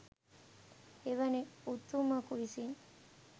එවැනි උතුමකු විසින්